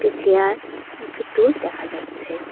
একটি চেয়ার একটি তুল দেখা যাচ্ছে।